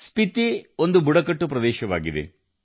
ಸ್ಪಿತಿ ಬುಡಕಟ್ಟು ಪ್ರದೇಶವಾಗಿದೆ